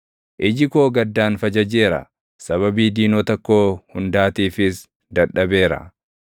Iji koo gaddaan fajajeera; sababii diinota koo hundaatiifis dadhabeera.